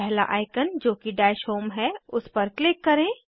पहला आइकन जोकि dash home है उस पर क्लिक करें